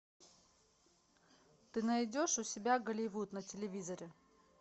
ты найдешь у себя голливуд на телевизоре